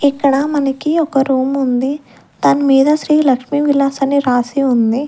ఇక్కడ మనకి ఒక రూం ఉంది దాని మీద శ్రీ లక్ష్మి విలాస్ అని రాసి ఉంది.